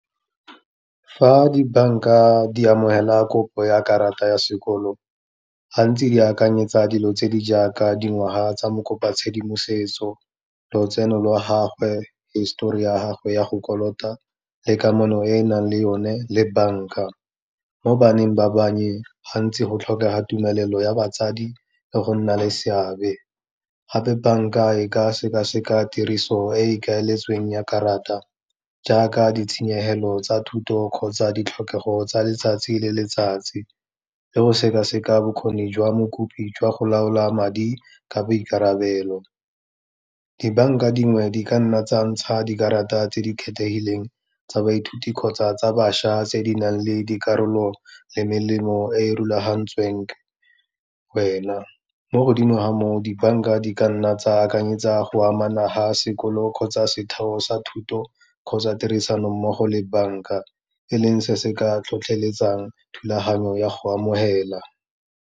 Fa di banka di amogela kopo ya karata ya sekoloto, gantsi di akanyetsa dilo tse di jaaka dingwaga tsa mokopatshedimosetso, lotseno lwa gagwe, histori ya gagwe ya go kolota le kamano e e nang le yone le banka, mo baneng ba bannye, gantsi go tlhokega tumelelo ya batsadi le go nna le seabe. Gape banka e ka sekaseka tiriso e e ikaeletsweng ya karata, jaaka ditshenyegelo tsa thuto kgotsa ditlhokego tsa letsatsi le letsatsi, le go sekaseka bokgoni jwa mokopi jwa go laola madi ka boikarabelo. Dibanka dingwe di ka nna tsa ntsha dikarata tse di kgethegileng tsa baithuti kgotsa tsa bašwa tse di nang le dikarolo le melemo e e rulagantsweng wena, mo godimo ga moo dibanka di ka nna tsa akanyetsa go amana ga sekolo kgotsa setheo sa thuto kgotsa tirisanommogo le banka, e leng se se ka tlhotlheletsang thulaganyo ya go amogela.